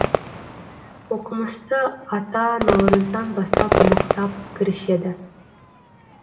оқымысты ата наурыздан бастап мықтап кіріседі